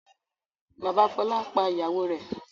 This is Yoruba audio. Bàbá Fọlá pa ìyàwó rẹ̀.